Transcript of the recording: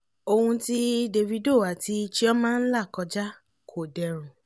ohun tí davido àti chioma ń là kọjá kò dẹrùn